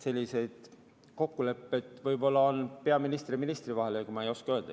Selliseid kokkuleppeid on võib-olla peaministri ja ministri vahel, ega ma ei oska öelda.